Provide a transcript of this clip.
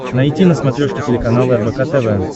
найти на смотрешке телеканал рбк тв